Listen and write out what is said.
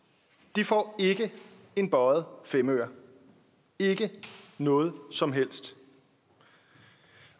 de får ikke en bøjet femøre ikke noget som helst